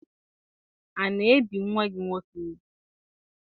A na-ebi nwa gị nwoke ugwu?